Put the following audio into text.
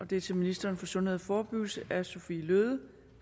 det er til ministeren for sundhed og forebyggelse af fru sophie løhde